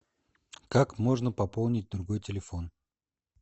как можно пополнить другой телефон